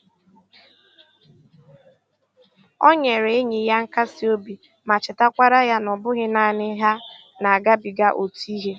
O nyere enyi ya nkasi obi ma chetakwara ya na ọ bụghị naanị ha na-agabiga otu ihe